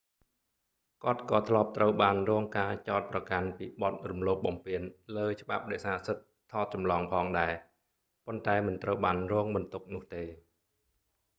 គាត់ក៏ធ្លាប់ត្រូវបានរងការចោទប្រកាន់ពីបទរំលោភបំពានលើច្បាប់រក្សាសិទ្ធិថតចម្លងផងដែរ ប៉ុន្តែមិនត្រូវបានរងបន្ទុកនោះទេ